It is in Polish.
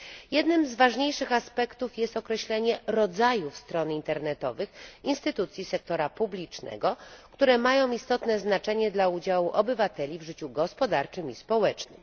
Jednym z ważniejszych aspektów jest określenie rodzajów stron internetowych instytucji sektora publicznego, które mają istotne znaczenie dla udziału obywateli w życiu gospodarczym i społecznym.